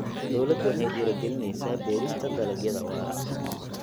Dawladdu waxay dhiirigelinaysaa beerista dalagyada waara.